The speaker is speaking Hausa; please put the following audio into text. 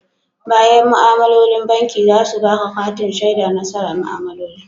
Bayan ma'amalolin banki za su baƙa katin shaidan nasara ma'amaloli?